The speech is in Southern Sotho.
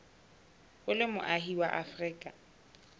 o le moahi wa afrika